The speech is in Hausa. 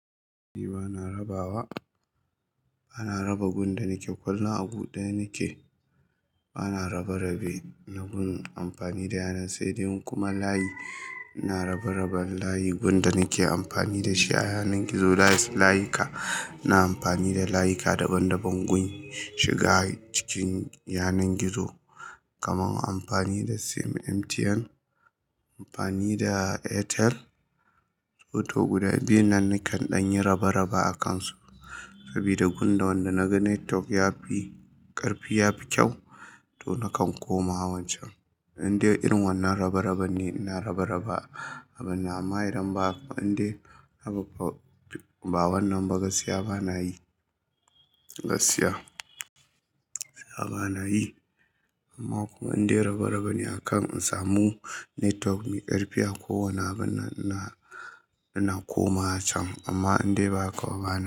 Bana rabawa, bana raba gun da nake kwallo a gu daya nake, bana raba rabe na gun amfani da yanan, sai dai kuma layi, ina raba raban layi gun da nake amfani da shi a yanar gizo, layis layika. Na amfani da layika daban daban gun shiga cikin yanar gizo, kamar amfani da sim MTN, amfani da Airtel, Toto guda biyun nan nakan ɗan yi raba raba akansu. Sabida gun da wanda naga Netwalk yafi ƙarfi, yafi kyau to nakan koma wancan. Inde irin wannan raba raba ne ina raba raba, amma idan ba inda babba wannan ba, gaskiya bana yi. Gaskiya bana yi. Amma kuma inda raba raba ne akan in samu Netwalk me ƙarfi a kowane abun na ina, ina koma can. Amma inda ba kawai bana.